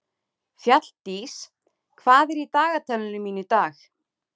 Fjalldís, hvað er í dagatalinu mínu í dag?